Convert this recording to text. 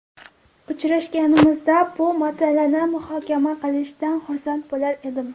Uchrashganimizda bu masalani muhokama qilishdan xursand bo‘lar edim”.